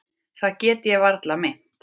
Það get ég varla meint.